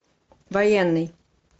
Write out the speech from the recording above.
военный